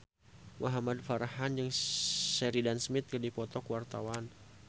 Muhamad Farhan jeung Sheridan Smith keur dipoto ku wartawan